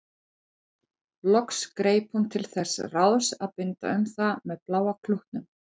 Loks greip hún til þess ráðs að binda um það með bláa klútnum.